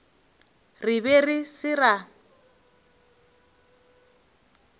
re be re se ra